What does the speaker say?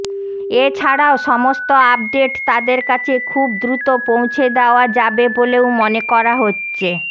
এছাড়াও সমস্ত আপডেট তাঁদের কাছে খুব দ্রুত পৌঁছে দেওয়া যাবে বলেও মনে করা হচ্ছে